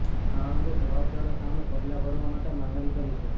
આ અંગે જવાબદારો સામે પગલાં ભરવા માટે માંગણી કરી છે